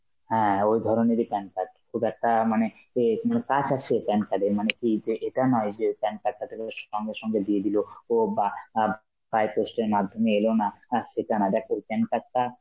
হ্যাঁ ওই ধরনেরই PAN card, তোর একটা মানে অ্যাঁ কি বলে pass আছে PAN card এর মানে কি এ~ এতে এটা নয় যে PAN card টা তোকে সঙ্গে সঙ্গে দিয়ে দিল, ও বা আ by post এর মাধ্যমে এলোনা, হ্যাঁ সেটা না দেখ তোর PAN card টা